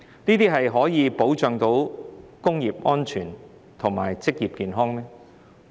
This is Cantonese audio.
這樣可以保障工業安全和職業健康嗎？